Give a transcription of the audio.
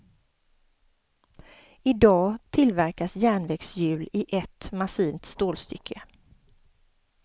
I dag tillverkas järnvägshjul i ett massivt stålstycke.